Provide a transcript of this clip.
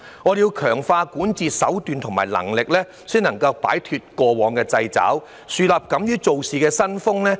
我們要強化管治手段和能力，才能夠擺脫過往的掣肘，樹立敢於做事的新風。